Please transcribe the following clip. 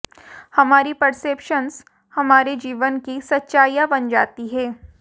हमारी परसेप्शंस हमारे जीवन की सच्चाइयां बन जाती हैं